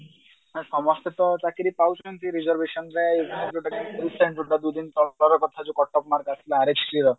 ସମସ୍ତେ ତ ଚାକିରି ପାଉଛନ୍ତି ଚାକିରି reservation କଟକ ଆମର